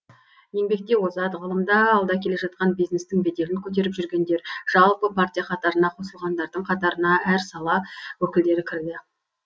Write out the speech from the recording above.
еңбекте озат ғылымда алда келе жатқан бизнестің беделін көтеріп жүргендер жалпы партия қатарына қосылғандардың қатарына әр сала өкілдері кірді